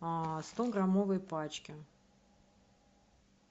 в стограммовой пачке